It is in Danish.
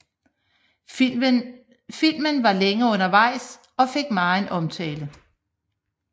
Filmen var længe undervejs og fik megen omtale